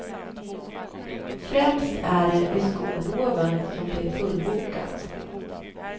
Främst är det vid skolloven som det är fullbokat.